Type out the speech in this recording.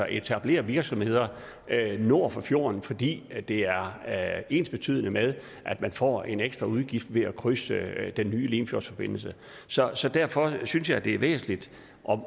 etablere virksomheder nord for fjorden fordi det er er ensbetydende med at man får en ekstra udgift ved at krydse den nye limfjordsforbindelse så så derfor synes jeg det er væsentligt